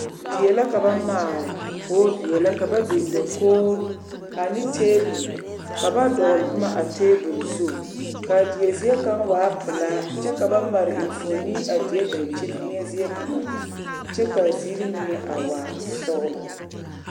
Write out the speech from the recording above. Die la ka ba maale k,o veɛlɛ ka ba biŋ dakogri ane tabol ka ba dɔgle noma a tabol zu k,a die zie kaŋ waa pelaa kyɛ ka ba mare enfuoni a die dankyini eŋɛ zie kaŋa kyɛ k,a ziiri mine a waa sɔglɔ.